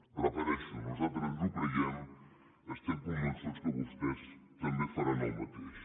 ho repeteixo nosaltres ens ho creiem estem convençuts que vostès també faran el mateix